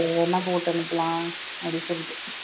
என்ன போட்டு அனுப்பலாம் அப்படின்னு சொல்லிட்டு